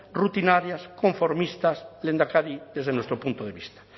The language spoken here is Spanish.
rutinarias conformistas lehendakari desde nuestro punto de vista